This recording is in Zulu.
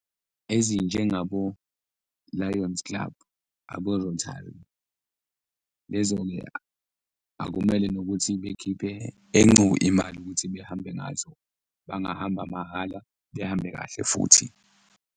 Ezinjengabo-Lion's Club, abo , lezo-ke akumele nokuthi bekhiphe encu imali ukuthi behambe ngazo, bangahamba mahhala behambe kahle futhi.